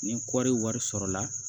Ni kɔri wari sɔrɔla